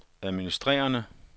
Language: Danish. administrerende